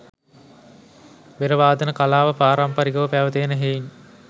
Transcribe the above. බෙර වාදන කලාව පාරම්පරිකව පැවත එන හෙයින්